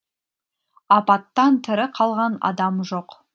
апаттан тірі қалған адам жоқ